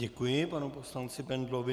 Děkuji panu poslanci Bendlovi.